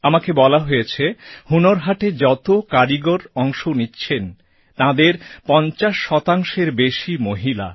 আমাকে বলা হয়েছে হুনর হাটে যত কারিগর অংশ নিচ্ছেন তাঁদের ৫০ শতাংশের বেশি মহিলা